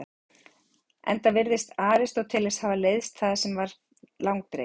Enda virðist Aristóteles hafa leiðst það sem var langdregið.